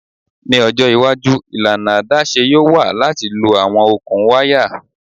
Ni ojo iwaju ilana adaṣe yoo wa lati lo awọn okun waya